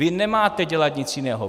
Vy nemáte dělat nic jiného.